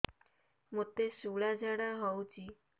ମୋତେ ଶୂଳା ଝାଡ଼ା ହଉଚି